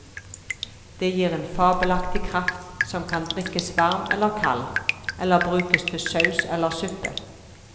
Det gir en fabelaktig kraft, som kan drikkes varm eller kald, eller brukes til saus eller suppe.